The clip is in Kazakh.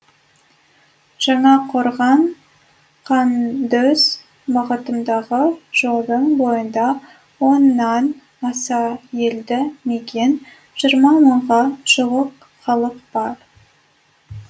жаңақорған қандөз бағытындағы жолдың бойында оннан аса елді мекен жиырма мыңға жуық халық бар